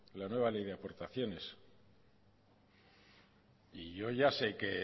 la nueva ley aportaciones y yo ya sé que